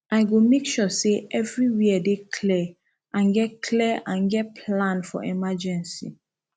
i go make sure say everywhere dey clear and get clear and get plan for emergency